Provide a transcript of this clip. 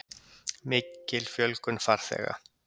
Mikil fjölgun farþega